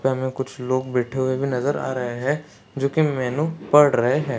हमें कुछ लोग बैठे हुए नजर आ रहे है जो की मेनू पड रहे है।